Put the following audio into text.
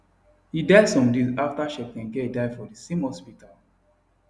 e die some days aftacheptegei die for di same hospital